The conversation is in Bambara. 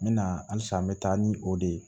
N bɛ na halisa n bɛ taa ni o de ye